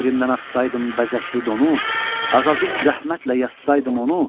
Şeirimdən atsaydım bəzəkli donu, azacıq zəhmətlə yazsaydım onu,